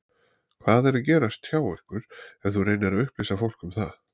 Hvað er að gerast hjá ykkur ef þú reynir að upplýsa fólk um það?